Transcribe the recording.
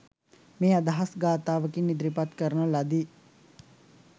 මේ අදහස් ගාථාවකින් ඉදිරිපත් කරන ලදී.